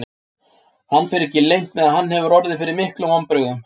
Hann fer ekki leynt með að hann hefur orðið fyrir miklum vonbrigðum.